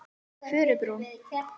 Furubrún